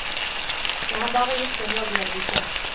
Jeg har bare gjort en jobb jeg liker.